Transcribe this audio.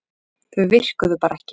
Þau virkuðu bara ekki.